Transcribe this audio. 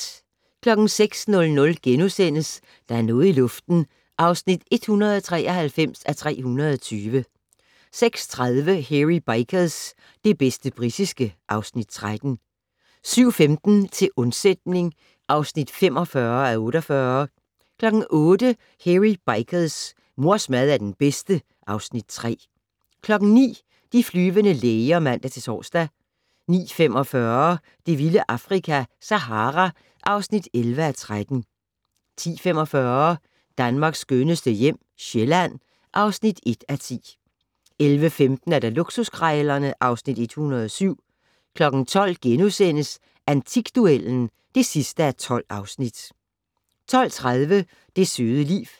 06:00: Der er noget i luften (193:320)* 06:30: Hairy Bikers - det bedste britiske (Afs. 13) 07:15: Til undsætning (45:48) 08:00: Hairy Bikers: Mors mad er den bedste (Afs. 3) 09:00: De flyvende læger (man-tor) 09:45: Det vilde Afrika - Sahara (11:13) 10:45: Danmarks skønneste hjem - Sjælland (1:10) 11:15: Luksuskrejlerne (Afs. 107) 12:00: Antikduellen (12:12)* 12:30: Det søde liv